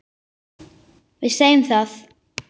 Við segjum það.